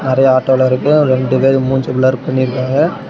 நெறய ஆட்டோலாம் இருக்கு ரெண்டு பேர் மூஞ்சி ப்ளர் பண்ணிருக்காங்க.